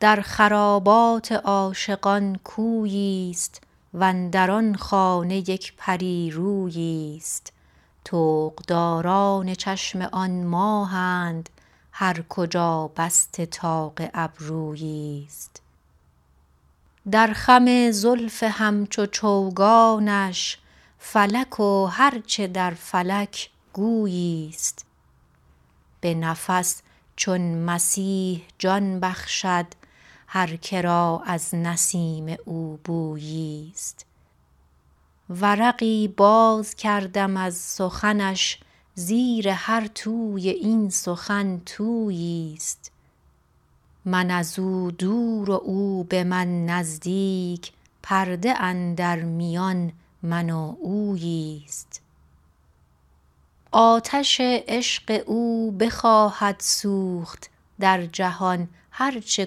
در خرابات عاشقان کوییست وندر آن خانه یک پری روییست طوقداران چشم آن ماهند هر کجا بسته طاق ابروییست در خم زلف همچو چوگانش فلک و هر چه در فلک گوییست به نفس چون مسیح جان بخشد هر کرا از نسیم او بوییست ورقی باز کردم از سخنش زیر هر توی این سخن توییست من ازو دور و او به من نزدیک پرده اندر میان من و اوییست آتش عشق او بخواهد سوخت در جهان هر چه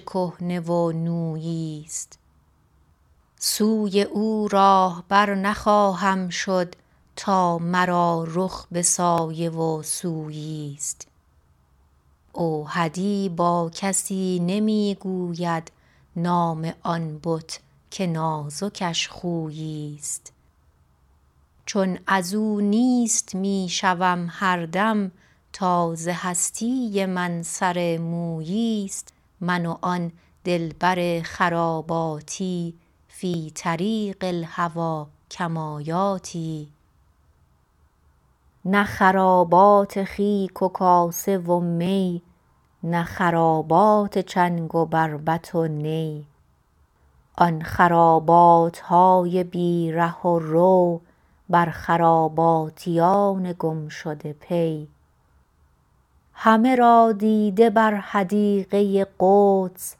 کهنه و نوییست سوی او راهبر نخواهم شد تا مرا رخ به سایه و سوییست اوحدی با کسی نمی گوید نام آن بت که نازکش خوییست چون ازو نیست می شوم هر دم تا ز هستی من سر موییست من و آن دلبر خراباتی فی طریق الهوی کمایاتی نه خرابات خیک و کاسه و می نه خرابات چنگ و بربط و نی آن خراباتهای بی ره و رو بر خراباتیان گم شده پی همه را دیده بر حدیقه قدس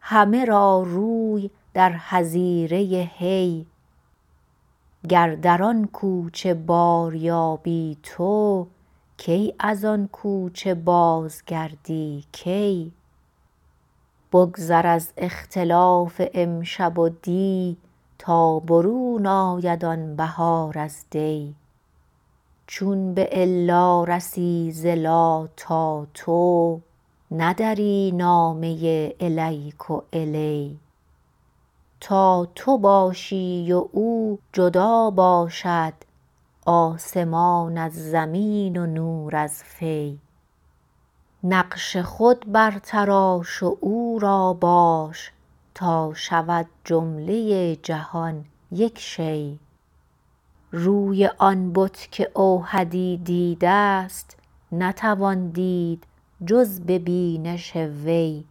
همه را روی در حظیره حی گر در آن کوچه باریابی تو کی از آن کوچه باز گردی کی بگذر از اختلاف امشب و دی تا برون آید آن بهار از دی چو بالا رسی ز لا تا تو ندری نامه الیک و الی تا تو باشی و او جدا باشد آسمان از زمین و نور از فی نقش خود برتراش و او را باش تا شود جمله جهان یک شی روی آن بت که اوحدی دیدست نتوان دید جز ببینش وی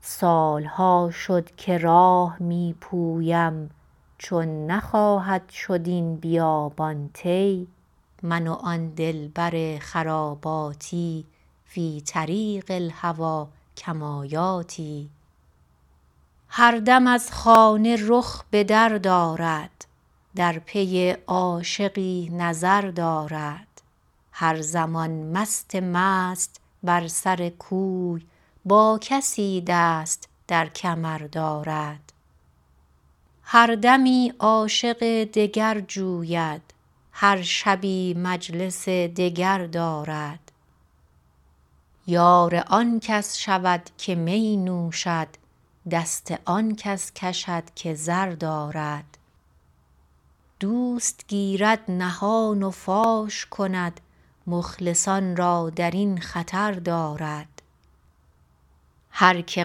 سالها شد که راه می پویم چون نخواهد شد این بیابان طی من و آن دلبر خراباتی فی طریق الهوی کمایاتی هر دم از خانه رخ بدر دارد در پی عاشقی نظر دارد هر زمان مست مست بر سر کوی با کسی دست در کمر دارد هر دمی عاشق دگر جوید هر شبی مجلس دگر دارد یار آنکس شود که می نوشد دست آن کس کشد که زر دارد دوست گیرد نهان و فاش کند مخلصان را درین خطر دارد هر که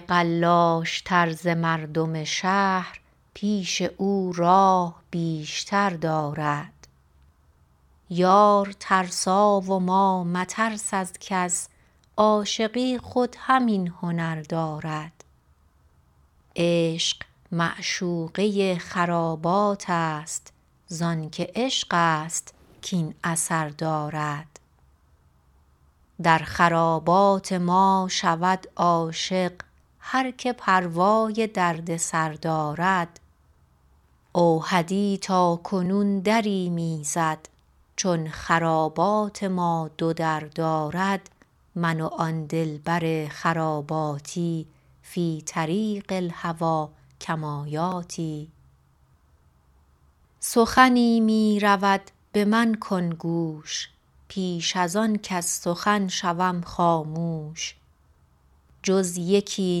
قلاش تر ز مردم شهر پیش او راه بیشتر دارد یار ترسا و ما مترس از کس عاشقی خود همین هنر دارد عشق معشوقه خراباتست زانکه عشقست کین اثر دارد در خرابات ما شود عاشق هر که پروای دردسر دارد اوحدی تاکنون دری می زد چون خرابات ما دو در دارد من و آن دلبر خراباتی فی طریق الهوی کمایاتی سخنی می رود به من کن گوش پیش از آن کز سخن شوم خاموش جز یکی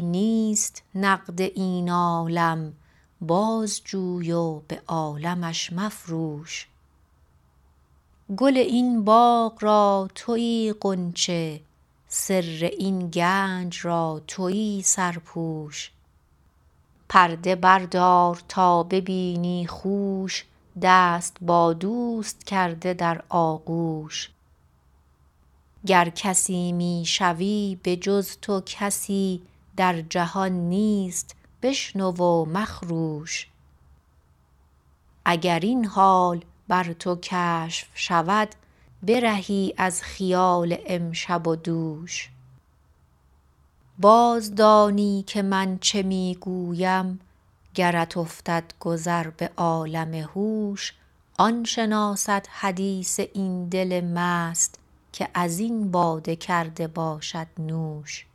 نیست نقد این عالم باز جوی و به عالمش مفروش گل این باغ را تویی غنچه سر این گنج را تویی سرپوش پرده بردار تا ببینی خوش دست با دوست کرده در آغوش گر کسی می شوی به جز تو کسی در جهان نیست بشنو و مخروش اگر این حال بر تو کشف شود برهی از خیال امشب و دوش باز دانی که من چه می گویم گرت افتد گذر به عالم هوش آن شناسد حدیث این دل مست که ازین باده کرده باشد نوش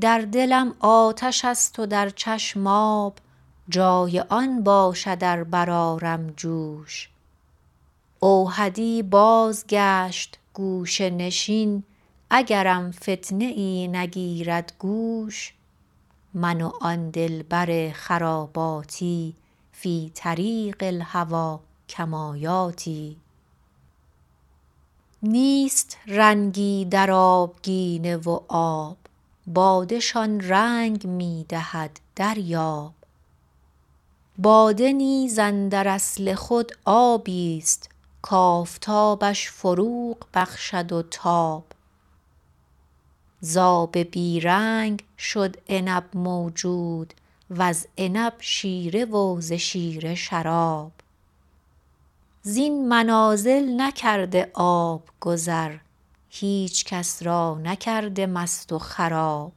در دلم آتشست و در چشم آب جای آن باشد ار برآرم جوش اوحدی بازگشت گوشه نشین اگرم فتنه ای نگیرد گوش من و آن دلبر خراباتی فی طریق الهوی کمایاتی نیست رنگی در آبگینه و آب باده شان رنگ می دهد دریاب باده نیز اندر اصل خود آبیست کافتابش فروغ بخشد و تاب ز آب بی رنگ شد عنب موجود و ز عنب شیره و ز شیره شراب زین منازل نکرده آب گذر هیچ کس را نکرده مست و خراب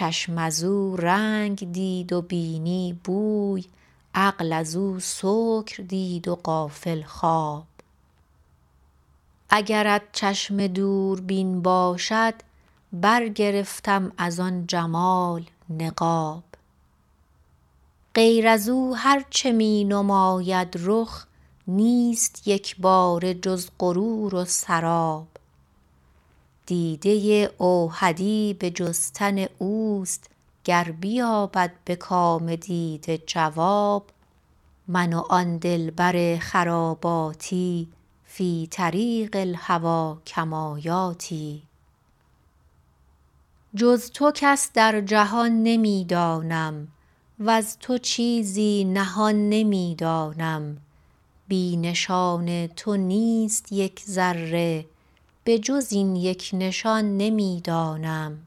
باش تا رنگ دید و بینی بوی عقل ازو سکر دید و غافل خواب اگرت چشم دوربین باشد برگرفتم از آن جمال نقاب غیر ازو هر چه می نماید رخ نیست یکباره جز غرور و سراب دیده اوحدی به جستن اوست گر بیابد به کام دیده جواب من و آن دلبر خراباتی فی طریق الهوی کمایاتی جز تو کس در جهان نمی دانم وز تو چیزی نهان نمی دانم بی نشان تو نیست یک ذره به جز این یک نشان نمی دانم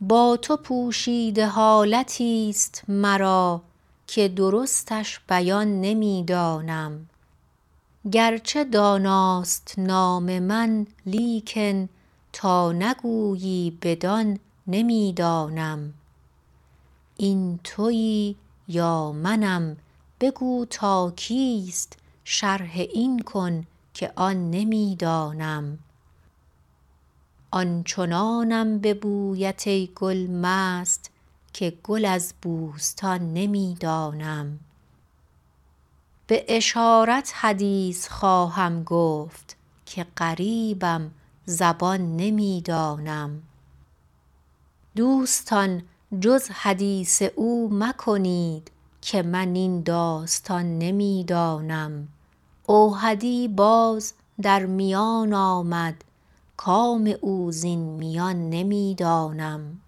با تو پوشیده حالتیست مرا که درستش بیان نمی دانم گرچه داناست نام من لیکن تا نگویی بدان نمی دانم این تویی یا منم بگو تا کیست شرح این کن که آن نمی دانمم آن چنانم به بویت ای گل مست که گل از بوستان نمی دانم به اشارت حدیث خواهم گفت که غریبم زبان نمی دانم دوستان جز حدیث او مکنید که من این داستان نمی دانم اوحدی باز در میان آمد کام او زین میان نمی دانم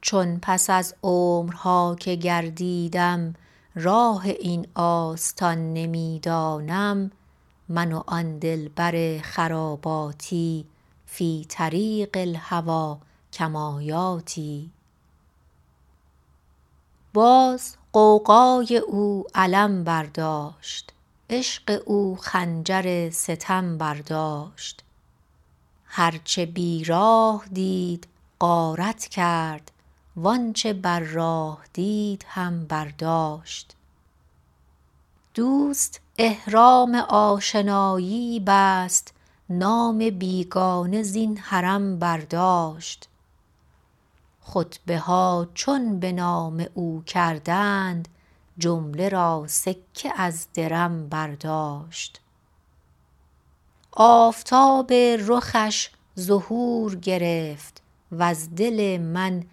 چون پس از عمرها که گردیدم راه این آستان نمی دانم من و آن دلبر خراباتی فی طریق الهوی کمایاتی باز غوغای او علم برداشت عشق او خنجر ستم برداشت هرچه بی راه دید غارت کرد و آنچه بر راه دید هم برداشت دوست احرام آشنایی بست نام بیگانه زین حرم برداشت خطبها چون به نام او کردند جمله را سکه از درم برداشت آفتاب رخش ظهور گرفت وز دل من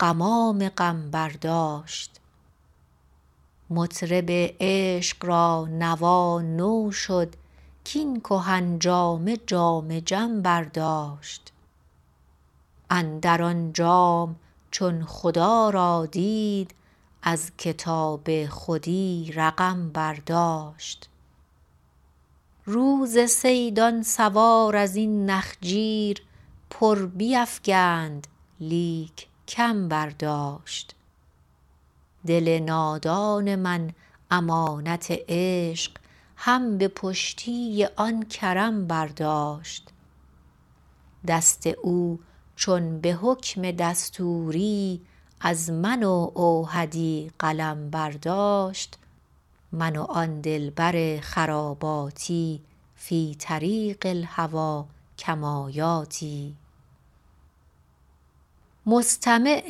غمام غم برداشت مطرب عشق را نوا نو شد کین کهن جامه جام جم برداشت اندر آن جام چون خدا را دید از کتاب خودی رقم برداشت روز صید آن سوار ازین نخجیر پر بیفگند لیک کم برداشت دل نادان من امانت عشق هم به پشتی آن کرم برداشت دست او چون به حکم دستوری از من و اوحدی قلم برداشت من و آن دلبر خراباتی فی طریق الهوی کمایاتی مستمع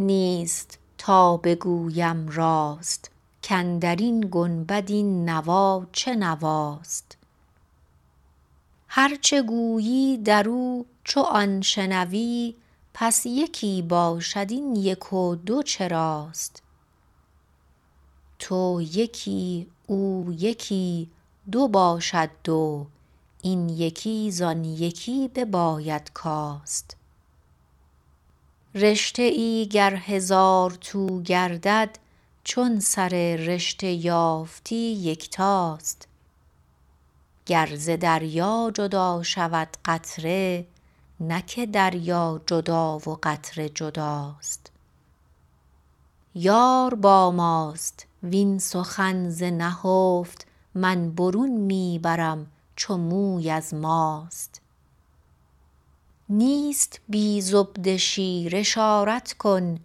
نیست تا بگویم راست کندرین گنبد این نوا چه نواست هر چه گویی درو چو آن شنوی پس یکی باشد این یک و دو چراست تو یکی او یکی دو باشد دو این یکی زان یکی بباید کاست رشته ای گر هزار تو گردد چون سر رشته یافتی یکتاست گر ز دریا جدا شود قطره نه که دریا جدا و قطره جداست یار با ماست وین سخن ز نهفت من برون می برم چو موی ز ماست نیست بی زبده شیر اشارت کن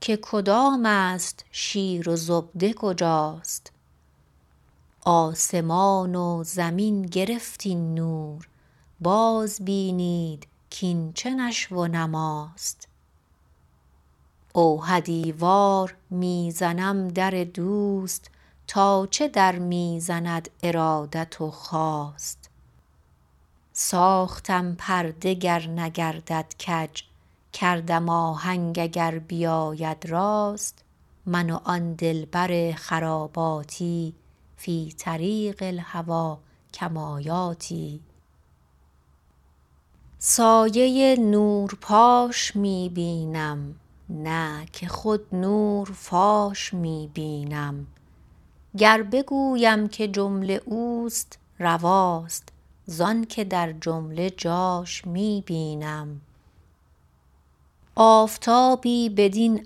که کدامست شیر و زبده کجاست آسمان و زمین گرفت این نور باز بینید کین چه نشو و نماست اوحدی وار می زنم در دوست تا چه در می زند ارادت و خواست ساختم پرده گر نگردد کج کردم آهنگ اگر بیاید راست من و آن دلبر خراباتی فی طریق الهوی کمایاتی سایه نور پاش می بینم زانکه در جمله جاش می بینم آفتابی بدین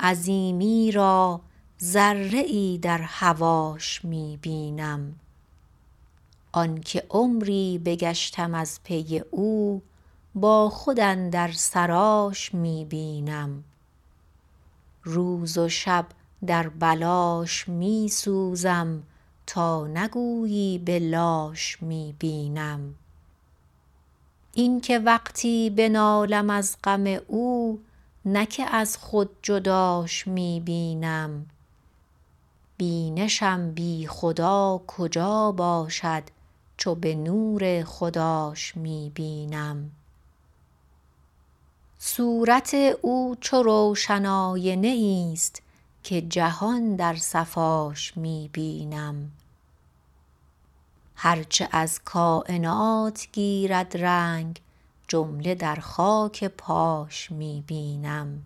عظیمی را ذره ای در هواش می بینم آنکه عمری بگشتم از پی او با خود اندر سراش می بینم روز و شب در بلاش می سوزم تا نگویی بلاش می بینم این که وقتی بنالم از غم او نه که از خود جداش می بینم بینشم بی خدا کجا باشد چو به نور خداش می بینم صورت او چو روشن آینه ایست که جهان در صفاش می بینم هر چه از کاینات گیرد رنگ جمله در خاک پاش می بینم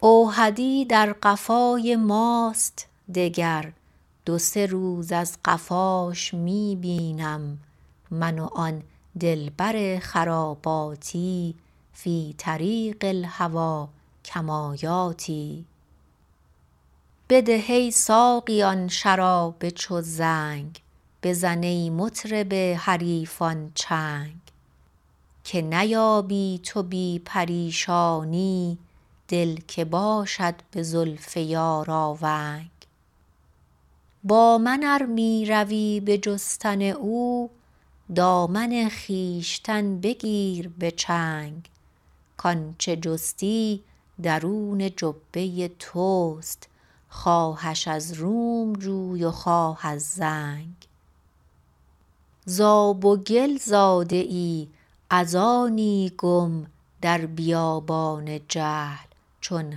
اوحدی در قفای ماست دگر دو سه روز از قفاش می بینم من و آن دلبر خراباتی فی طریق الهوی کمایاتی بده ای ساقی آن شراب چو زنگ بزن ای مطرب حریفان چنگ که نیابی تو بی پریشانی دل که باشد به زلف یار آونگ با من ار می روی به جستن او دامن خویشتن بگیر به چنگ کانچه جستی درون جبه تست خواهش از روم جوی و خواه از زنگ ز آب و گل زاده ای از آنی گم در بیابان جهل چون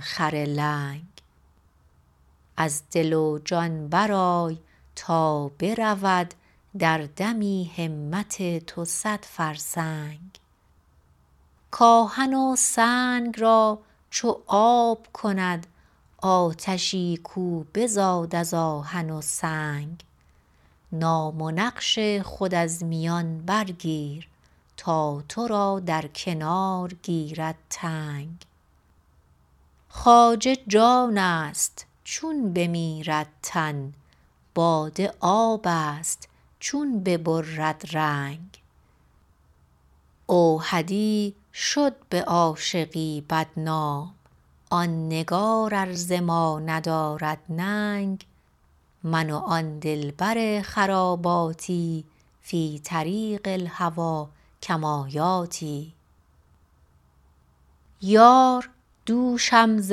خر لنگ از دل و جان برآی تا برود در دمی همت تو صد فرسنگ کاهن و سنگ را چو آب کند آتشی کو بزاد از آهن و سنگ نام و نقش خود از میان برگیر تا ترا در کنار گیرد تنگ خواجه جانست چون بمیرد تن باده آبست چون ببرد رنگ اوحدی شد به عاشقی بد نام آن نگار از زمانه دارد ننگ من و آن دلبر خراباتی فی طریق الهوی کمایاتی یار دوشم ز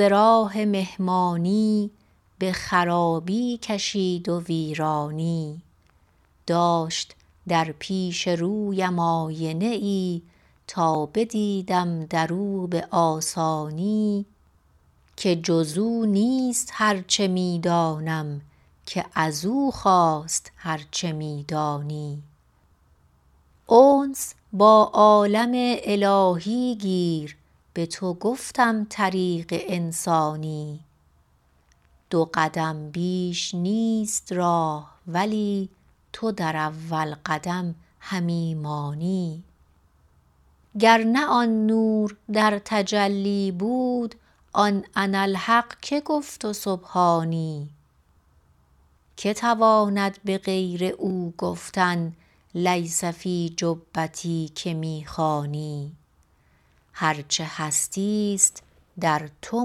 راه مهمانی به خرابی کشید و ویرانی داشت در پیش رویم آینه ای تا بدیدم درو به آسانی که جزو نیست هر چه می دانم که ازو خاست هر چه می دانی انس با عالم الهی گیر به تو گفتم طریق انسانی دو قدم بیش نیست راه ولی تو در اول قدم همی مانی گر نه آن نور در تجلی بود آن اناالحق که گفت و سبحانی که تواند به غیر او گفتن لیس فی جبتی که می خوانی هر چه هستیست در تو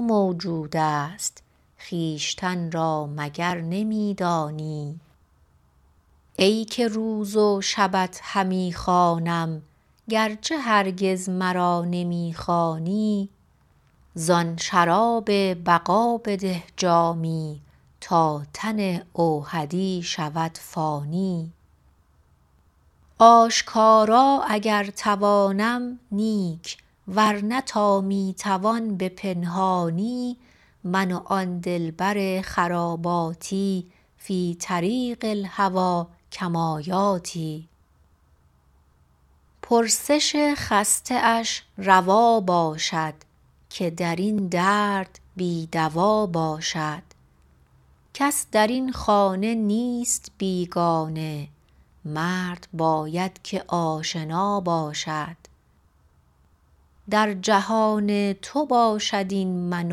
موجودست خویشتن را مگر نمی دانی ای که روز و شبت همی خوانم گرچه هرگز مرا نمی خوانی زان شراب بقا بده جامی تا تن اوحدی شود فانی آشکارا اگر توانم نیک ورنه تا می توان به پنهانی من و آن دلبر خراباتی فی الطریق الهوی کمایاتی پرسش خسته اش روا باشد که درین درد بی دوا باشد کس درین خانه نیست بیگانه مرد باید که آشنا باشد در جهان تو باشد این من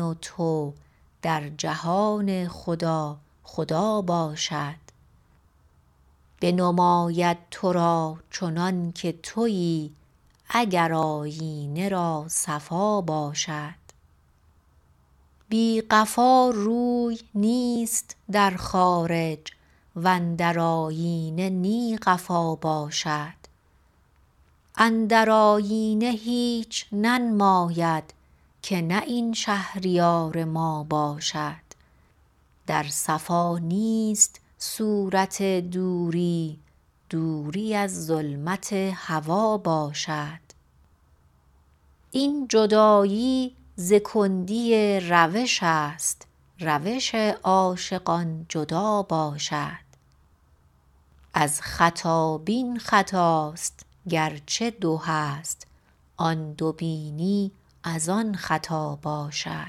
و تو در جهان خدا خدا باشد بنماید ترا چنانکه تویی اگر آیینه را صفا باشد بی قفا روی نیست در خارج وندر آیینه نی قفا باشد اندر آیینه هیچ ننماید که نه این شهریار ما باشد در صفا نیست صورت دوری دوری از ظلمت هوا باشد این جدایی و کندی روشست روش عاشقان جدا باشد از خطای خطست اگر دویی است این دو بینی از آن خطا باشد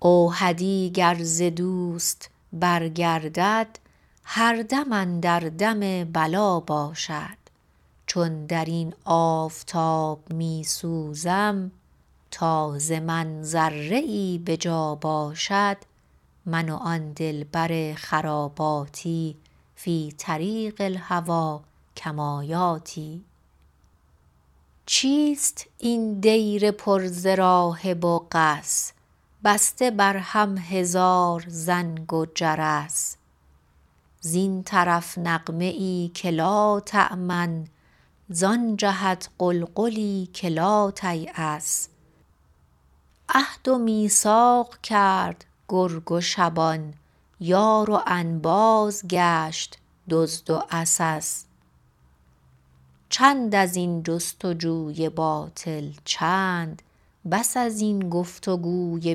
اوحدی گر ز دوست برگردد هر دم اندر دم بلا باشد چون درین آفتاب می سوزم تا ز من ذره ای به جا باشد من و آن دلبر خراباتی فی طریق الهوی کمایاتی چیست این دیر پر ز راهب و قس بسته بر هم هزار زنگ و جرس زین طرف نغمه ای که لاتامن زان جهت غلغلی که لاتیاس عهد و میثاق کرد گرگ و شبان یار و انباز گشت دزد و عسس چند ازین جستجوی باطل چند بس ازین گفتگوی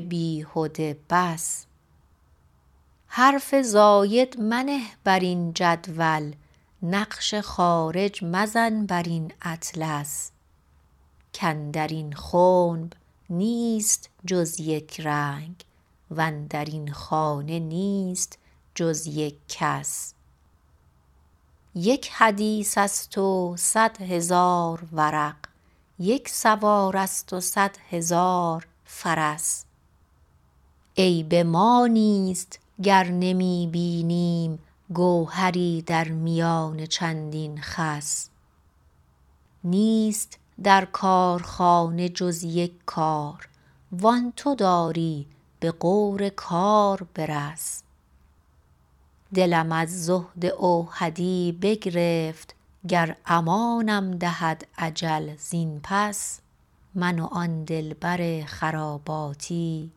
بیهده بس حرف زاید منه برین جدول نقش خارج مزن برین اطلس کندرین خنب نیست جز یک رنگ وندرین خانه نیست جز یک کس یک حدیثست و صد هزار ورق یک سوارست و صد هزار فرس عیب ما نیست گر نمی بینیم گوهری در میان چندین خس نیست در کارخانه جز یک کار و آن تو داری به غور کار برس دلم از زهد اوحدی بگرفت گر امانم دهد اجل زین پس من و آن دلبر خراباتی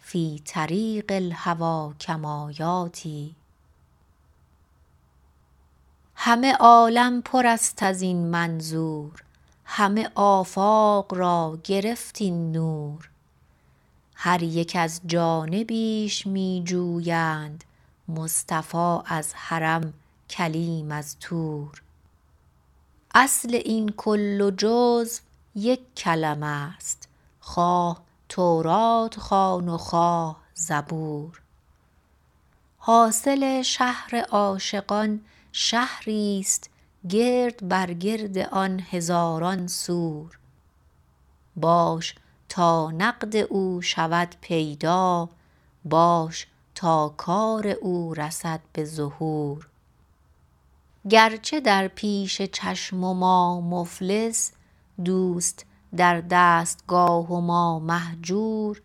فی طریق الهوی کمایاتی همه عالم پرست ازین منظور همه آفاق را گرفت این نور هر یک از جانبیش می جویند مصطفی از حرم کلیم از طور اصل این کل و جز و یک کلمه است خواه توراة خوان و خواه زبور حاصل شهر عاشقان شهریست گرد بر گرد آن هزاران سور باش تا نقد او شود پیدا باش تا کار او رسد به ظهور گرچه در پیش چشم و ما مفلس دست در دستگاه و ما مهجور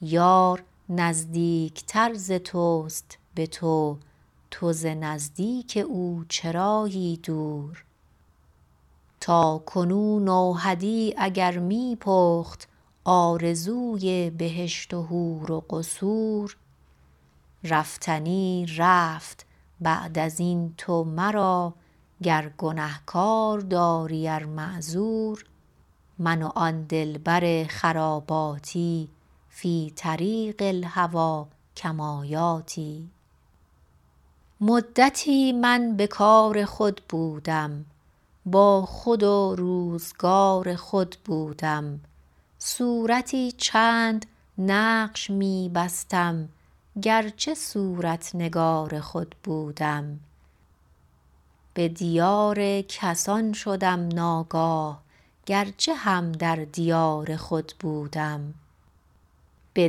یار نزدیک تر ز تست به تو تو ز نزدیک او چرایی دور تاکنون اوحدی اگر می پخت آرزوی بهشت و حور و قصور رفتنی رفت بعد ازین تو مرا گر گنه گار داری ار معذور من و آن دلبر خراباتی فی طریق الهوی کمایاتی مدتی من به کار خود بودم با خود و روزگار خود بودم صورتی چند نقش می بستم گرچه هم در دیار خود بودم به دیار کسان شدم ناگاه گرچه هم در دیار خود بودم به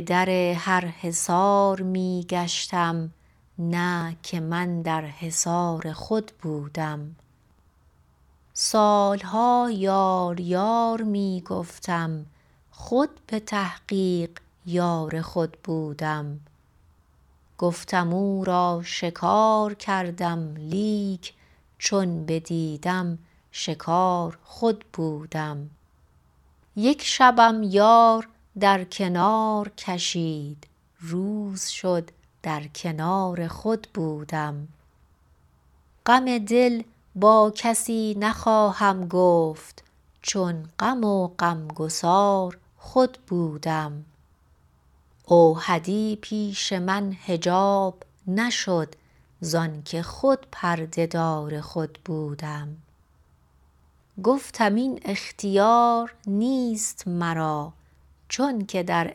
در هر حصار می گشتم نه که من در حصار خود بودم سالها یار یار می گفتم خود به تحقیق یار خود بودم گفتم او را شکار کردم لیک چون بدیدم شکار خود بودم یک شبم یار در کنار کشید روز شد در کنار خود بودم غم دل با کسی نخواهم گفت چون غم و غمگسار خود بودم اوحدی پیش من حجاب نشد زانکه خود پرده دار خود بودم گفتم این اختیار نیست مرا چون که در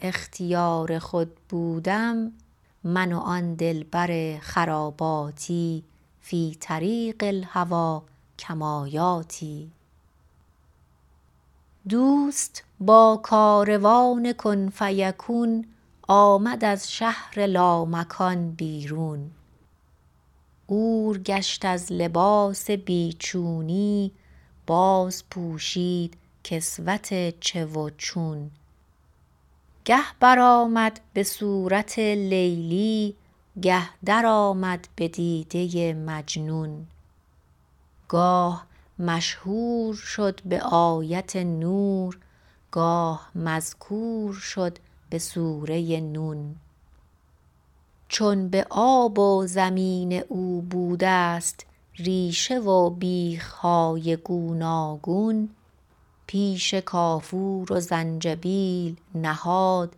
اختیار خود بودم من و آن دلبر خراباتی فی طریق الهوی کمایاتی دوست به کاروان کن فیکون آمد از شهر لامکان بیرون عور گشت از لباس بیچونی باز پوشید کسوت چه و چون گر بر آمد بصورت لیلی گه در آمد بدیده مجنون گاه مشهور شد بیت نور گاه مذکور شد بسورت نون چون به آب و زمین او بودست ریشه و بیخهای گوناگون پیش کافور و زنجبیل نهاد